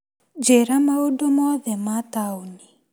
Njĩra maũndũ mothe ma taũni .